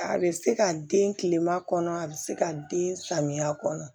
A bɛ se ka den tilema kɔnɔ a bɛ se ka den samiya kɔnɔ